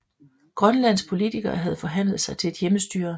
Grønlands politikere havde forhandlet sig til et hjemmestyre